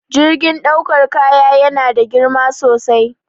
Jirgin ɗaukar kaya yana da girma sosai